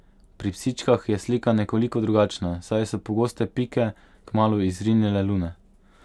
Pri psičkah je slika nekoliko drugačna, saj so pogoste Pike kmalu izrinile Lune.